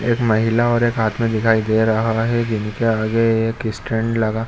एक महिला और एक आदमी दिखाई दे रहा है जिनके आगे एक स्टैंड लगा --